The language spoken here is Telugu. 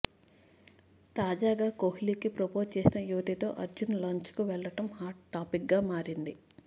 తాజాగా కోహ్లీకి ప్రపోజ్ చేసిన యువతితో అర్జున్ లంచ్కు వెళ్లడం హాట్ టాపిక్గా మారింది